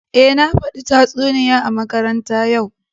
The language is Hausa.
Eh, na fada tatsuniya a makaranta ya'u